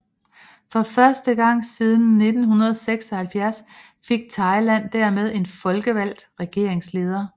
For første gang siden 1976 fik Thailand dermed en folkevalgt regeringsleder